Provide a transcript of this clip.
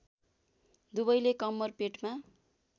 दुवैले कम्मर पेटमा